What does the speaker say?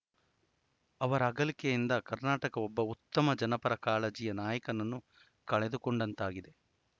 ಅವರ ಅಗಲಿಕೆಯಿಂದ ಕರ್ನಾಟಕ ಒಬ್ಬ ಉತ್ತಮ ಜನಪರ ಕಾಳಜಿಯ ನಾಯಕನನ್ನು ಕಳೆದುಕೊಂಡಂತಾಗಿದೆ